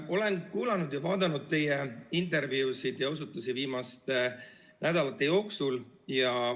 Olen kuulanud ja vaadanud teie intervjuusid ja osutusi viimaste nädalate jooksul.